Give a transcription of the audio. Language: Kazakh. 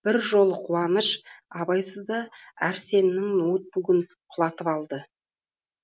бір жолы қуаныш абайсызда әрсеннің ноутбугін құлатып алды